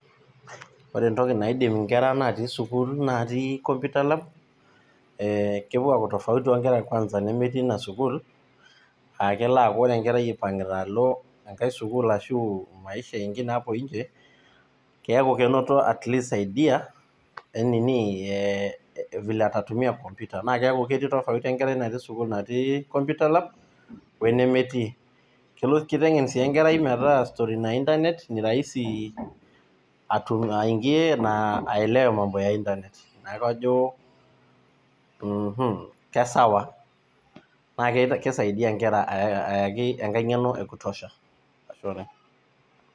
Ore etoki naidim nkera natii sukuul natii computer lab ee kepuo aaku tofauti ooh nkera kwanza nemetii ina sukuul aah ore kwanza ipangita aalo enkae sukuul ashu maisha ingine hapo nje keaku kenoto atleast pee aisaidia enini eeh vile atatumia computer neaku ketii tofauti enkerai natii sukuul natii computer lab oe nemetii. Kelo kitengen si enkerai metaa story na internet ni rahisi aingie na aelewe mambo na internet ,ina paa ajo uuhu kesawa naa kisaidia nkera aaa yaki enkae ngeno ekutosha ashe oooleng.